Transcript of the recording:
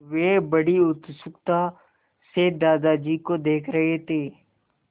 वे बड़ी उत्सुकता से दादाजी को देख रहे थे